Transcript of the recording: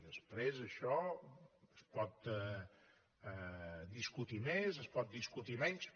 després això es pot discutir més es pot discutir menys